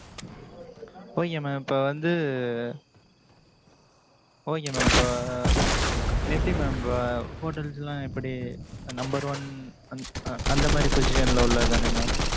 okay mam இப்ப வந்து okay mam இப்ப எப்படி mam இப்ப hotels லாம் எப்படி, number one அந்~ அந்த மாரி, position ல உள்ளதுதானே, mam